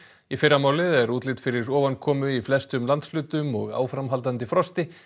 í fyrramálið er útlit fyrir ofankomu í flestum landshlutum og áframhaldandi frosti